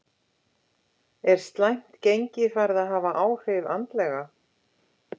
Er slæmt gengi farið að hafa áhrif andlega?